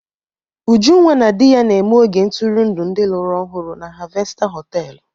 Ujunwa na di ya na-eme oge ntụrụndụ ndị lụrụ ọhụrụ na Harvester họtelu.